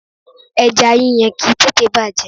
Ẹja yíyan kìí tètèé bàjẹ́.